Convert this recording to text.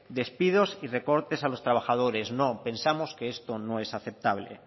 despidos y recortes a los trabajadores no pensamos que esto no es aceptable